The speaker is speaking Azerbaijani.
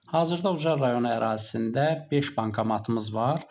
Hazırda Ucar rayonu ərazisində beş bankomatımız var.